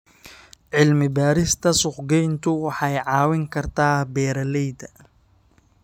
Cilmi-baarista suuqgeyntu waxay caawin kartaa beeralayda.